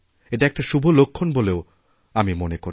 এটা একটা শুভ লক্ষণ বলেই আমি মনে করি